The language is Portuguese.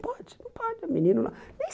Pode, não pode, menino.